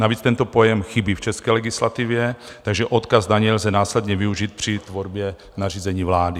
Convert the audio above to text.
Navíc tento pojem chybí v české legislativě, takže odkaz na něj lze následně využít při tvorbě nařízení vlády.